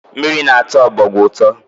Mmiri na-atọ ọbọgwụ ụtọ